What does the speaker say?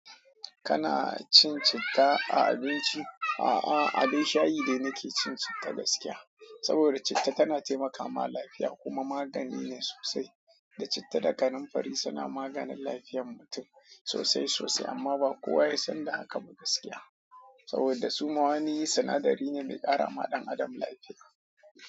Kana cin citta a abinci? A'a, abin shayi dai nake cin citta gaskiya. Saboda da citta tana taimakawa lafiya kuma magani ne sosai. Da citta da kanamfari suna maganin lafiyar mutum sosai sosai amma ba kowa ya san da haka ba gaskiya. Saboda su mawani sinadari ne me ƙara wa ɗan adam lafiya.